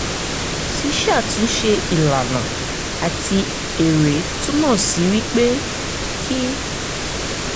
ṣiṣatunse ilana ati ere tunmọ si wipe ki